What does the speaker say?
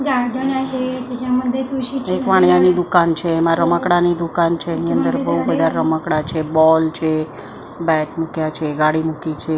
એક વાણીયાની દુકાન છે એમાં રમકડાની દુકાન છે એની અંદર બહુ બધા રમકડા છે બોલ છે બેટ મૂક્યા છે ગાડી મૂકી છે.